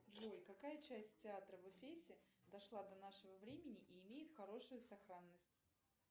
джой какая часть театра в эфесе дошла до нашего времени и имеет хорошую сохранность